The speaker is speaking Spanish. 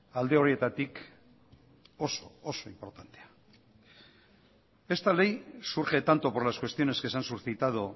alde horietatik oso oso inportantea esta ley surge tanto por las cuestiones que se han suscitado